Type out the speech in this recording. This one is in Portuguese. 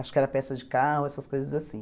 Acho que era peça de carro, essas coisas assim.